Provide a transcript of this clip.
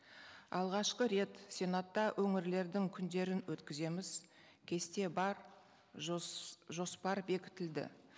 алғашқы рет сенатта өңірлердің күндерін өткіземіз кесте бар жоспар бекітілді